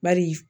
Bari